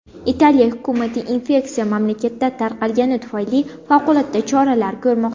Italiya hukumati infeksiya mamlakatda tarqalgani tufayli favqulodda choralar ko‘rmoqda .